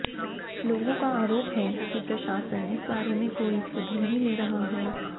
लोगों का आरोप है कि प्रशासन इस बारे में कोई सुध नहीं ले रहा है